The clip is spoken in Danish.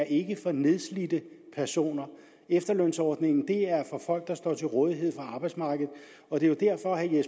ikke er for nedslidte personer efterlønsordningen er for folk der står til rådighed for arbejdsmarkedet og det er jo derfor at